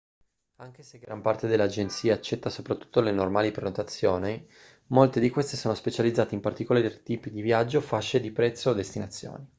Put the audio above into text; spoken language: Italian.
anche se gran parte delle agenzie accetta soprattutto le normali prenotazioni molte di queste sono specializzate in particolari tipi di viaggio fasce di prezzo o destinazioni